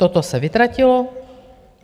Toto se vytratilo.